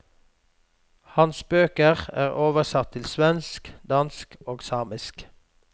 Hans bøker er oversatt til svensk, dansk og samisk.